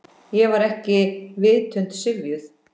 Ég var ekki vitund syfjuð.